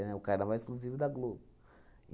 o carnaval exclusivo da Globo.